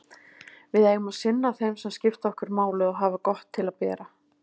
Við eigum að sinna þeim sem skipta okkur máli og hafa gott til að bera.